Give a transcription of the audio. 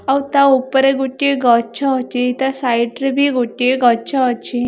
ଆଉ ତା ଓପରେ ଗୋଟିଏ ଗଛ ଅଛି ତା ସାଇଟ୍ ରେ ବି ଗୋଟିଏ ଗଛ ଅଛି।